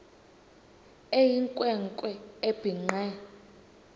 eyinkwe nkwe ebhinqe